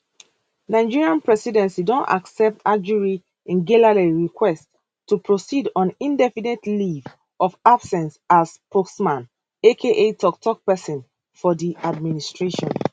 nigerian presidency don accept ajuri ngelale request to proceed on indefinite leave of absence as spokesman aka toktok pesin for di administration